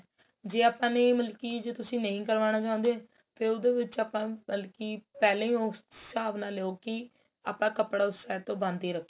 ਜੇ ਆਪਾਂ ਨੇ ਮਤਲਬ ਕੀ ਜੇ ਤੁਸੀਂ ਨਹੀਂ ਕਰਵਾਣਾ ਚਾਹੁੰਦੇ ਤੇ ਉਹਦੇ ਵਿੱਚ ਆਪਾਂ ਮਤਲਬ ਕੀ ਪਹਿਲਾਂ ਹੀ ਉਸ ਹਿਸਾਬ ਨਾਲ ਲਿਉ ਕੀ ਆਪਾਂ ਕਪੜਾ ਉਸ side ਤੋਂ ਬੰਦ ਹੀ ਰਖੀਏ